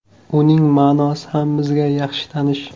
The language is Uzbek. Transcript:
Uning ma’nosi ham bizga yaxshi tanish.